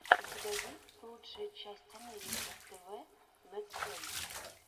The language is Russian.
у тебя есть лучшая часть америки тв лэтсплэй